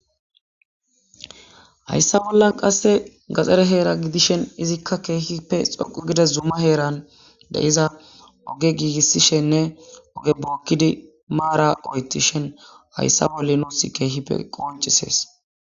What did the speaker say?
Hayssa bollan qasse gaxere heera gidishen izikka keehippe xoqu gides zumma heeran de iza oge giigissishenne oge bookkidi maara oytishen hayssa bolle nuus keehipe